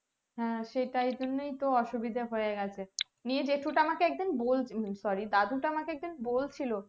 হ্যাঁ সেটাই জন্যই তো অসুবিধা হয়ে গেছে নিয়ে জেঠুটা একদিন এই sorry দাদুটা আমাকে একদিন বলছিলো